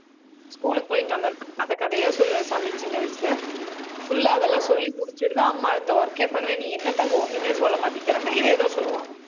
school க்கு போயிட்டு வந்தவுடனே கதை கதையா சொல்லுவேன் சாமி சின்ன வயசுல full ஆ அதெல்லாம் சொல்லி முடிச்சுட்டுதான் அம்மா அடுத்த work ஏ பண்ணுவேன். நீ என்னத்தங்கம் ஒண்ணுமே சொல்ல மாட்டேங்கிறன்னா இதேதான் சொல்லுவான்